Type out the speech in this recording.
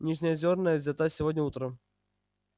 нижнеозерная взята сегодня утром